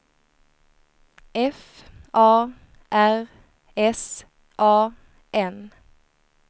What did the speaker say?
F A R S A N